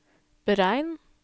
beregn